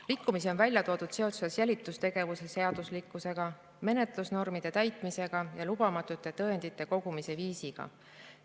Rikkumisi on välja toodud seoses jälitustegevuse seaduslikkusega, menetlusnormide täitmisega ja lubamatute tõendite kogumisega.